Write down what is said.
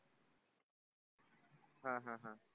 हा हा हा